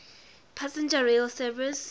passenger rail service